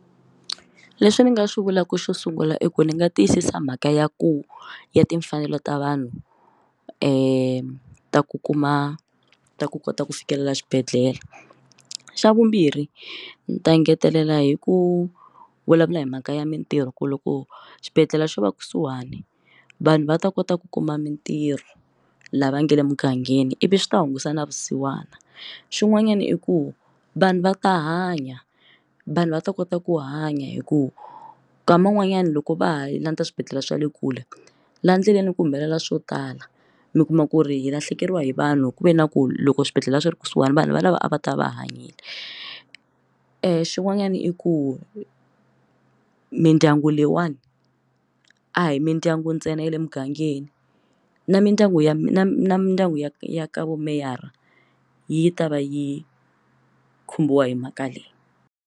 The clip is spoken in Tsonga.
Leswi ni nga swi vulaka xo sungula i ku ndzi nga tiyisisa mhaka ya ku ya timfanelo ta vanhu ta ku kuma ta ku kota ku fikelela xibedhlele xa vumbirhi ndzi ta engetelela hi ku vulavula hi mhaka ya mintirho ku loko xibedhlele xo va kusuhani vanhu va ta kota ku kuma mintirho lava nge le mugangeni ivi swi ta hunguta na vusiwana xin'wanyana i ku vanhu va ta hanya vanhu va ta kota ku hanya hi ku ka man'wanyana loko va ha landza swibedhlele swa le kule laha endleleni ku humelela swo tala mi kuma ku ri hi lahlekeriwa hi vanhu ku ve na ku loko swibedhlele swi ri kusuhana vanhu valava a va ta va hanya e xin'wanyana i ku mindyangu leyiwani a hi mindyangu ntsena ya le mugangeni na mindyangu ya mindyangu ya ya ka vumeyara yi ta va yi khumbiwa hi mhaka leyi.